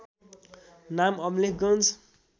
नाम अमलेखगञ्ज